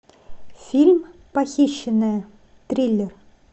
фильм похищенная триллер